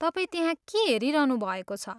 तपाईँ त्यहाँ के हेरिरहनु भएको छ?